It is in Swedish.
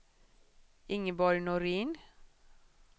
Ingeborg Norin